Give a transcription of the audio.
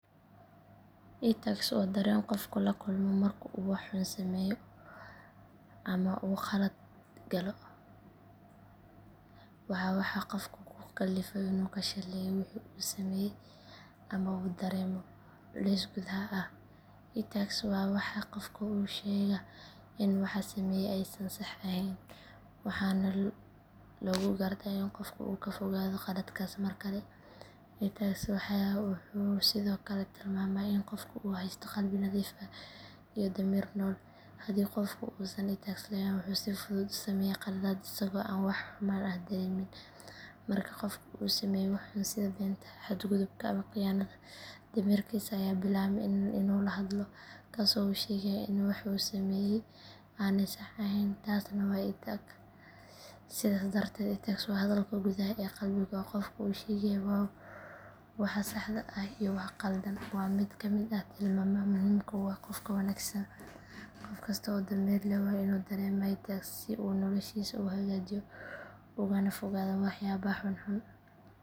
Itax waa dareen qofku la kulmo marka uu wax xun sameeyo ama uu khalad galo, waa waxa qofka ku kallifa inuu ka shallaayo wixii uu sameeyay ama uu dareemo culays gudaha ah. Itax waa waxa qofka u sheega in waxa uu sameeyay aysan sax ahayn, waxaana lagu gartaa in qofka uu ka fogaado qaladkaas markale. Itax wuxuu sidoo kale tilmaamaa in qofku uu haysto qalbi nadiif ah iyo damiir nool. Haddii qofku uusan itax lahayn, wuxuu si fudud u sameeyaa khaladaad isagoo aan wax xumaan ah dareemin. Marka qofku uu sameeyo wax xun sida beenta, xadgudubka, ama khiyaanada, damiirkiisa ayaa bilaaba inuu la hadlo, kaas oo u sheegaya in waxa uu sameeyay aanay sax ahayn, taasna waa itax. Sidaas darteed, itax waa hadalka gudaha ee qalbiga oo qofka u sheegaya waxa saxda ah iyo waxa khaldan. Waa mid ka mid ah tilmaamaha muhimka u ah qofka wanaagsan. Qof kasta oo damiir leh waa inuu dareemaa itax si uu noloshiisa u hagaajiyo ugana fogaado waxyaabaha xunxun.